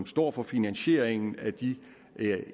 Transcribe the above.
står for finansieringen af de